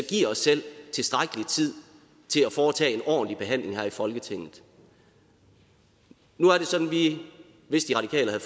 giver os selv tilstrækkelig tid til at foretage en ordentlig behandling her i folketinget nu er det sådan at vi hvis de radikale havde